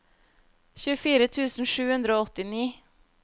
tjuefire tusen sju hundre og åttini